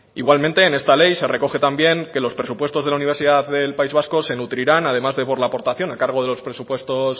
igualmente en esta ley se recoge también que los presupuestos de la universidad del país vasco se nutrirán además de por la aportación a cargo de los presupuestos